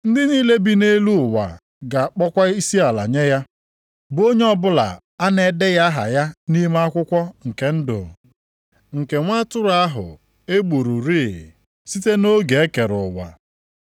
Ndị niile bi nʼelu ụwa ga-akpọkwa isiala nye ya, bụ onye ọbụla a na-edeghị aha ya nʼime akwụkwọ nke ndụ nke Nwa atụrụ ahụ e gbururị, site nʼoge e kere ụwa.